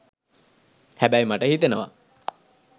හැබැයි මට හිතෙනව